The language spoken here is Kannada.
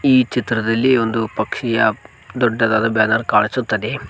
ಈ ಚಿತ್ರದಲ್ಲಿ ಒಂದು ಪಕ್ಷಿಯ ದೊಡ್ಡದಾದ ಬ್ಯಾನರ ಕಾಣಿಸುತ್ತದೆ.